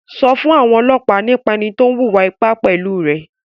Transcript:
Sọ fún àwọn ọlọ́pàá nípa ẹni tó wùwà ipá pẹ̀lú rẹ̀!